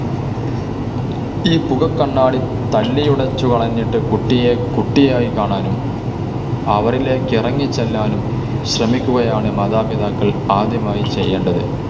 ഈ പുക കണ്ണാടി തല്ലിയുടച്ചു കളഞ്ഞിട്ട് കുട്ടിയെ കുട്ടിയായി കാണാനും, അവരിലേക്ക് ഇറങ്ങി ചെല്ലുവാനും ശ്രമിക്കുകയാണ് മാതാപിതാക്കൾ ആദ്യമായി ചെയ്യേണ്ടത്,